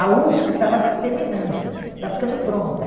A USP estava terminando, estava ficando pronta.